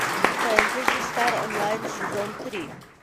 фэнтези стар онлайн сезон три